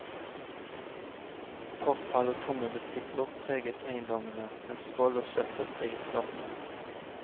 Forfall og tomme butikker preget eiendommene, mens vold og søppel preget gatene.